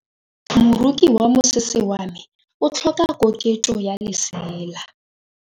Moroki wa mosese wa me o tlhoka koketsô ya lesela.